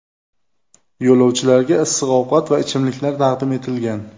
Yo‘lovchilarga issiq ovqat va ichimliklar taqdim etilgan.